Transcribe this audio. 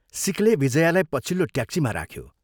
सिखले विजयालाई पछिल्लो ट्याक्सीमा राख्यो।